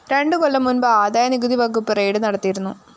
രണ്ടു കൊല്ലം മുന്‍പ് ആദായനികുതി വകുപ്പ് റെയ്ഡ്‌ നടത്തിയിരുന്നു